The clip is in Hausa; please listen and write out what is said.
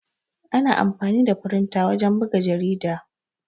Ana amfani da firinta wajen buga jarida.